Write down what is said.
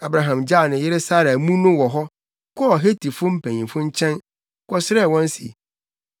Abraham gyaw ne yere Sara amu no wɔ hɔ, kɔɔ Hetifo mpanyimfo nkyɛn, kɔsrɛɛ wɔn se,